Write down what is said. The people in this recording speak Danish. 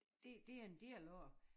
Det det er en del af det